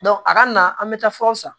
a kana na an bɛ taa furaw san